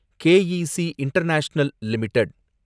K E C International limited